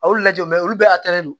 A y'o lajɛ olu bɛɛ don